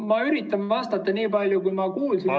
Ma üritan vastata nii palju, kui ma kuulsin.